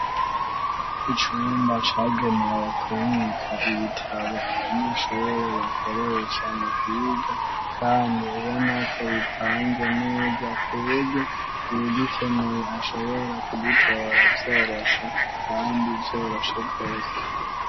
Icumba cagenewe kubika ibitabo abanyeshure bakoresha mu kwiga, kandi ubona ko bipanze neza ku buryo uwugikeneye ashobora kugitora vyoroshe kandi vyoroshe rwose.